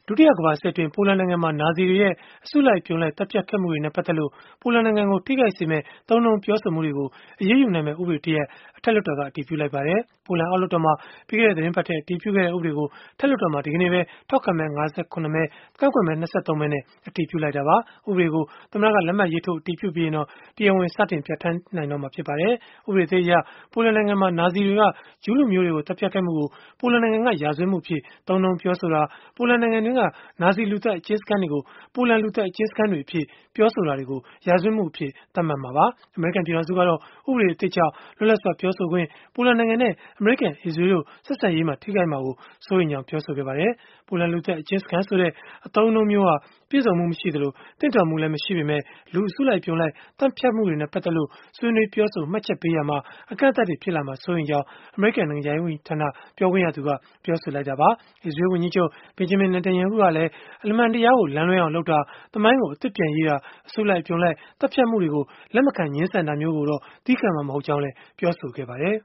ုတိယကမ္ဘာစစ်အတွင်း ပိုလန်နိုင်ငံမှာ နာဇီတွေရဲ့ အစုလိုက်အပြုံလိုက် သတ်ဖြတ်ခဲ့မှုတွေနဲ့ ပတ်သက်လို့ ပိုလန်နိုင်ငံကို ထိခိုက်စေမယ့် သုံးနှုန်းပြောဆိုမှုတွေကို အရေးယူနိုင်မယ့် ဥပဒေတရပ်ကို အထက်လွှတ်တော်က အတည်ပြုလိုက်ပါတယ်။ ပိုလန်အောက်လွှတ်တော်မှာ ပြီးခဲ့တဲ့ သီတင်းပတ်ထဲ အတည်ပြုခဲ့တဲ့ ဥပဒေကို အထက်လွှတ်တော်မှာ ဒီကနေ့ပဲ ထောက်ခံမဲ ၅၇ မဲ ကန့်ကွက်မဲ ၂၃ မဲနဲ့ အတည်ပြလိုက်တာပါ။ ဥပဒေကို သမ္မ္မတက လက်မှတ်ရေးထိုး အတည်ပြုပြီးရင်တော့ တရားဝင်စတင်ကျင့်သုံးနိုင်တော့မှာ ဖြစ်ပါတယ်။ ဥပဒေသစ်အရ ပိုလန်နိုင်ငံမှာ နာဇီတွေက ဂျုးလူမျိုးတွေကို သတ်ဖြတ်ခဲ့မှုကို ပိုလန်နိုင်ငံက ရာဇဝတ်မှုအဖြစ် သုံးနှုန်းပြောဆိုတာ၊ ပိုလန်နိုင်ငံတွင်းက နာဇီလူသတ် အကျဉ်းစခန်းတွေကို ပိုလန်လူသတ်အကျဉ်းစခန်းတွေအဖြစ် ပြောဆိုတာတွေကို ရာဇဝတ်မှုအဖြစ် သတ်မှတ်မှာပါ။ အမေရိကန် ပြည်ထောင်စုကတော့ ဥပဒေသစ်ကြောင့် လွတ်လပ်စွာ ပြောဆိုခွင့်၊ ပိုလန်နိုင်ငံနဲ့ အမေရိကန်၊ အစ္စရေးလ်တို့ ဆက်ဆံရေး ထိခိုက်မှာ စိုးရိမ်ကြောင်း ပြောဆိုခဲ့ပါတယ်။ ပိုလန်လူသတ်အကျဉ်းစခန်း ဆိုတဲ့အသုံးအနှုန်းမျိုးဟာ ပြည့်စုံမှု မရှိသလို၊ သင့်တော်မှုလည်း မရှိပေမဲ့ လူအစုလိုက်အပြုံလိုက် သတ်ဖြတ်မှုတွေနဲ့ ပတ်သက်လို့ ဆွေးနွေးပြောဆို မှတ်ချက်ပေးရာမှာ အကန့်အသတ်တွေ ဖြစ်လာမှာကို စိုးရိမ်ရကြောင်း အမေရိကန် နိုင်ငံခြားရေး ဝန်ကြီးဌာန ပြောခွင့်ရသူ Heather Nauert က ပြောဆိုခဲ့တာပါ။ အစ္စရေးလ် ဝန်ကြီးချုပ် Benjamin Netanyahu ကလည်း အမှန်တရားကို လမ်းလွဲအောင်လုပ်တာ၊ သမိုင်းကိုအသစ်ပြန်ရေးတာ၊ အစုလိုက် အပြုံလိုက် သတ်ဖြတ်မှုတွေကို လက်မခံငြင်းဆန်တာမျိုးကိုတော့ သည်းခံမှာ မဟုတ်ကြောင်း ပြောဆိုခဲ့ပါတယ်